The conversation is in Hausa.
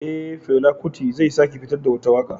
Eh, Fela kuti zai sake fitar da wata waka